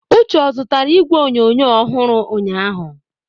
Uche ozụtara igwe onyonyo ọhụrụ ụnyahụ?